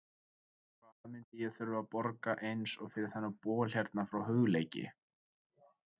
Hvað myndi ég þurfa að borga eins og fyrir þennan bol hérna frá Hugleiki?